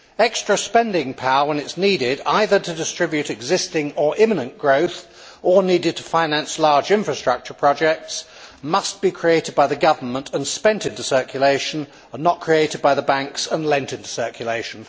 Extra spending power, when it is needed either to distribute existing or imminent growth or to finance large infrastructure projects must be created by the government and spent into circulation, not created by the banks and lent into circulation.